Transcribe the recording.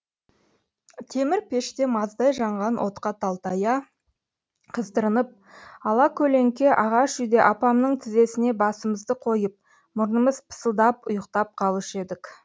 темір пеште маздай жанған отқа талтая қыздырынып ала көлеңке ағаш үйде апамның тізесіне басымызды қойып мұрнымыз пысылдап ұйықтап қалушы едік